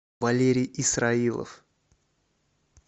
валерий исраилов